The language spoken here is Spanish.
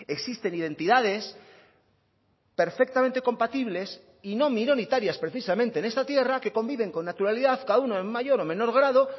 existen identidades perfectamente compatibles y no minoritarias precisamente en esta tierra que conviven con naturalidad cada uno en mayor o menor grado